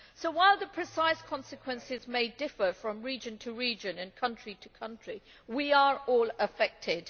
So while the precise consequences may differ from region to region and country to country, we are all affected.